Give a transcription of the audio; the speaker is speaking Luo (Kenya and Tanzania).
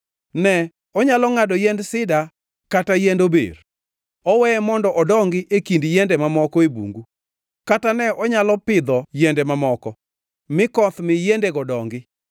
Ne onyalo ngʼado yiend sida kata yiend ober. Oweye mondo odongi e kind yiende mamoko e bungu, kata ne onyalo pidho yiende mamoko mi koth mi yiendego odongi.